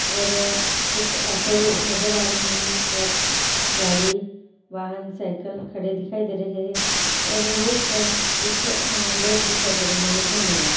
और कुछ नजर आ रहे हैं| गाड़ी वाहन साइकिल खड़े दिखाई दे रहे हैं और रोड पर कुछ लोग दिखाई दे रहे हैं धन्यवाद।